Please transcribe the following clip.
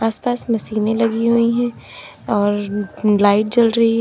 आसपास में मशीने लगी हुई है और लाइट जल रही है।